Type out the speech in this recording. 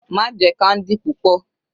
Má jẹ candy púpọ̀.